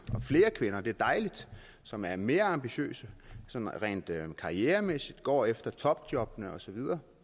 og flere kvinder det er dejligt som er mere ambitiøse sådan rent karrieremæssigt og går efter topjobbene og så videre